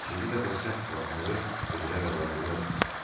İkinci dəfə səhv buraxmağı özünə rəva bilməzdi.